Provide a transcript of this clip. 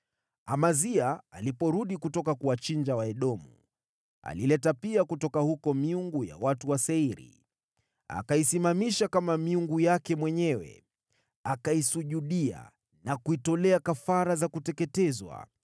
Amazia aliporudi kutoka kuwachinja Waedomu, alileta pia kutoka huko miungu ya watu wa Seiri. Akaisimamisha kama miungu yake mwenyewe, akaisujudia na kuitolea kafara za kuteketezwa.